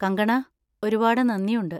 കങ്കണാ, ഒരുപാട് നന്ദിയുണ്ട്!